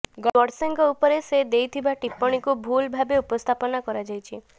ଗଡସେଙ୍କ ଉପରେ ସେ ଦେଇଥିବା ଟିପ୍ପଣିକୁ ଭୁଲ୍ ଭାବେ ଉପସ୍ଥାପନ କରାଯାଇଛି